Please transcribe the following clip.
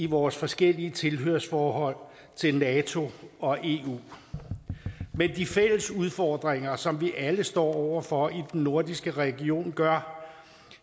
vores forskellige tilhørsforhold til nato og eu men de fælles udfordringer som vi alle står over for i den nordiske region gør